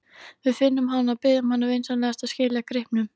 Við finnum hana og biðjum hana vinsamlega að skila gripnum.